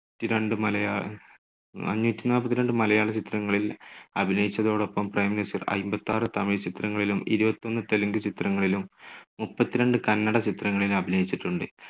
T രണ്ട്‍ മലയാള നാനൂറ്റി നാല്പത്തിരണ്ട് മലയാള ചിത്രങ്ങളിൽ അഭിനയിച്ചതോടൊപ്പം പ്രേംനസീർ അയ്മ്പത്താറ് പ്രാവശ്യം തമിഴ് ചിത്രങ്ങളിലും ഇരുപത്തൊന്ന് തെലുങ്ക് ചിത്രങ്ങളിലും മുപ്പത്തിരണ്ട് കന്ന‍ഡ ചിത്രങ്ങളിലും അഭിനയിച്ചിട്ടുണ്ട്.